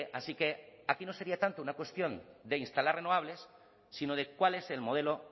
así que aquí no sería tanto una cuestión de instalar renovables sino de cuál es el modelo